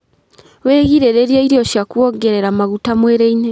Wĩgirĩrĩrie irio cia kũongerera maguta mwĩrĩ-inĩ